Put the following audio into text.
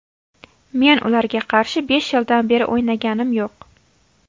Men ularga qarshi besh yildan beri o‘ynaganim yo‘q.